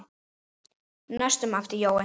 næstum æpti Jói.